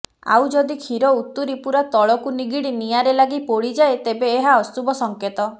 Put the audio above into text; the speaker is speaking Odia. ଆଉ ଯଦି କ୍ଷୀର ଉତୁରି ପୁରା ତଳକୁ ନିଗିଡି ନିଆଁରେ ଲାଗି ପୋଡିଯାଏ ତେବେ ଏହା ଅଶୁଭ ସଂକେତ